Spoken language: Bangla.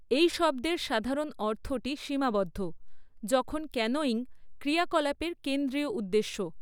এই শব্দের সাধারণ অর্থটি সীমাবদ্ধ, যখন ক্যানোয়িং ক্রিয়াকলাপের কেন্দ্রীয় উদ্দেশ্য।